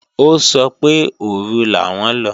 Ó sọ pé òru làwọn lọ